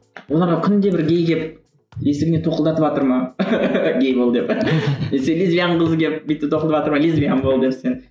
оларға күнде бір гей келіп есігіне тоқылдатыватыр ма гей бол деп лесбиян қызы келіп бүйтіп тоқылдатыватыр ма лесбиян бол деп сен